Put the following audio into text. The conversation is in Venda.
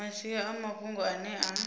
masia a mafhungo ane a